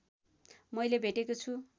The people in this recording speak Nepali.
मैले भेटेको छु